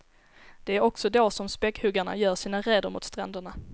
Det är också då som späckhuggarna gör sina räder mot stränderna.